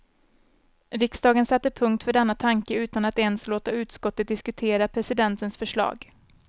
Riksdagen satte punkt för denna tanke utan att ens låta utskottet diskutera presidentens förslag.